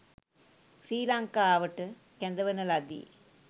ශ්‍රී ලංකාවට කැඳවන ලදී